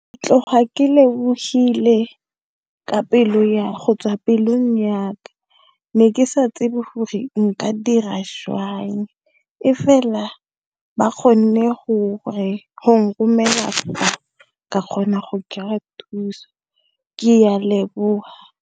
Tloga ke lebohile go tswa pelong yaka ke ne ke sa tsebe hore nka dira jwang ba kgonne go nromela ka kgona go kry-a thuso ke a leboha.